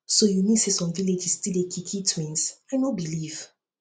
so you mean say some villages still dey kill kill twins i no believe